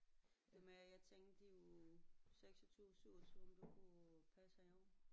Det var mere jeg tænkte i uge 26 27 om du kunne passe haven